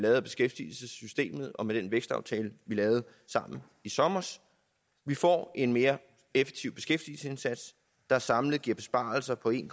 af beskæftigelsessystemet og med den vækstaftale vi lavede sammen i sommer vi får en mere effektiv beskæftigelsesindsats der samlet giver besparelser på en